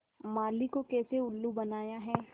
माली को कैसे उल्लू बनाया है